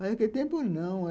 Mas, naquele tempo, não.